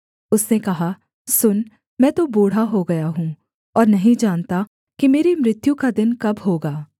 उसने कहा सुन मैं तो बूढ़ा हो गया हूँ और नहीं जानता कि मेरी मृत्यु का दिन कब होगा